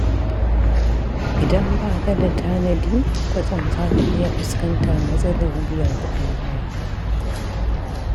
Idan ba ka da tanadi, kwatsam za ka iya fuskantar matsalar biyan kuɗin haya.